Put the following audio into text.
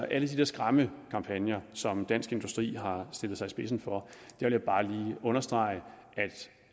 alle de der skræmmekampagner som dansk industri har stillet sig i spidsen for bare lige understrege